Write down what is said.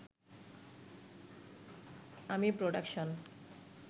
আমি প্রোডাকশন